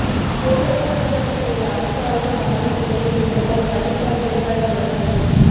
சேலம் அஸ்தம்பட்டியில் உள்ள அரசு ஆய்வு மாளிகையில் முதல்வர் எடப்பாடி பழனிச்சாமி அதிகாரிகளுடன் ஆய்வு